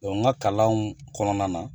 n ka kalanw kɔnɔna na.